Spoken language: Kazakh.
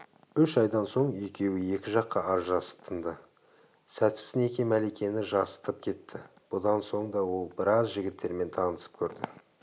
үш айдан соң екеуі екі жаққа ажырасып тынды сәтсіз неке мәликені жасытып кетті бұдан соң да ол біраз жігіттермен танысып көрді